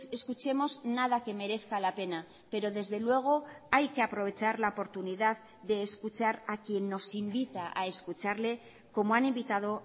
escuchemos nada que merezca la pena pero desde luego hay que aprovechar la oportunidad de escuchar a quien nos invita a escucharle como han invitado